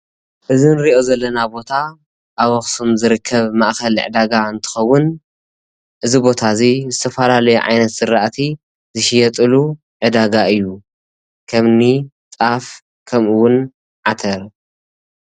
እዚ እንሪኦ ዘለና ቦታ ኣብ ኣክሱም ዝርከብ ማእከል ዕዳጋ እንትከውን እዚ ቦታ እዚ ዝተፈላለዩ ዓይነት ዝራእቲ ዝሽየጠሉ ዕዳጋ እዩ፡፡ ከም እኒ ጣፍ ከምኡ እውን ዓተር።